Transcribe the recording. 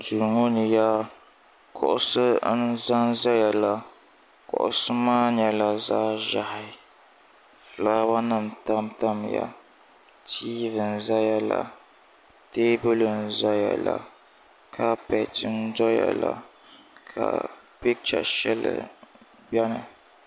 duu ŋɔ ni yaa kuɣisi n za n-zayala kuɣisi maa nyɛla zaɣ' ʒehi fulaawanima n tam tamya tiivi n zayala teebuli n zayala kapɛti n doyala ka pikicha shɛli beni